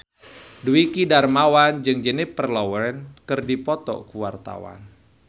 Dwiki Darmawan jeung Jennifer Lawrence keur dipoto ku wartawan